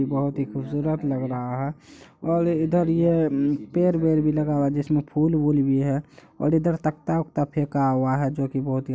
बहुत ही खूबसूरत लग रहा है और इधर ये पेड़ वेर भी लगा हुआ है जिसमे फुल बुल भी है और इधर तकता वक्ता फैका हुआ है जो की बहुत ही--